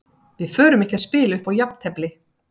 Við förum ekki að spila upp á jafntefli.